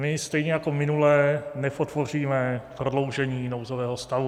My stejně jako minule nepodpoříme prodloužení nouzového stavu.